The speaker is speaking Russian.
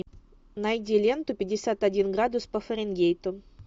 найди ленту пятьдесят один градус по фаренгейту